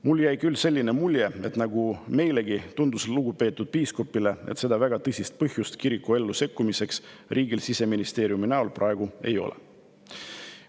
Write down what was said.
Mulle jäi küll selline mulje, et nagu meilegi, tundus lugupeetud piiskopile, et seda väga tõsist põhjust kiriku ellu sekkumiseks riigil Siseministeeriumi näol praegu ei ole.